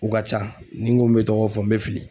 U ka ca ni n ko n bɛ tɔgɔ fɔ n bɛ fili